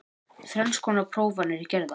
Þrenns konar prófanir gerðar